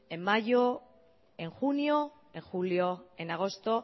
en mayo en junio en julio en agosto